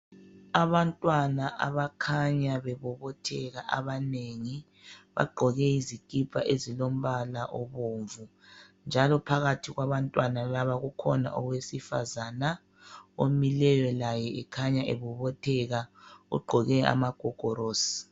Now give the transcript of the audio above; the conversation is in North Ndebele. Abantwana abakhanya bebobotheka abanengi. Bagqoke izikipa ezilombala obomvu, njalo phakathi kwabantwana laba, kukhona owesifazana omileyo laye ekhanya ebobotheka. Ugqoke amagogorosi.